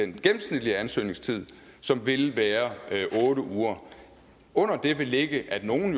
gennemsnitlige ansøgningstid som vil være otte uger under det vil ligge at nogle